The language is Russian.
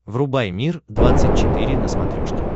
врубай мир двадцать четыре на смотрешке